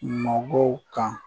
Mɔgɔw kan